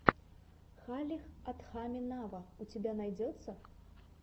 халех адхами нава у тебя найдется